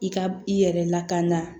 I ka i yɛrɛ lakana